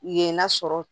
Yen n'a sɔrɔ